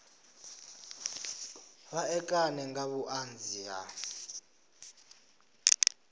vha ṋekane nga vhuṱanzi ha